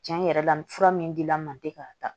Tiɲɛ yɛrɛ la nin fura min dila n ma n tɛ k'a ta